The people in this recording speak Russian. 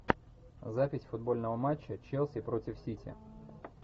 запись футбольного матча челси против сити